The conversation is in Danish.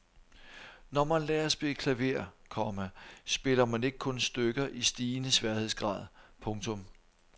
Når man lærer at spille klaver, komma spiller man ikke kun stykker i stigende sværhedsgrad. punktum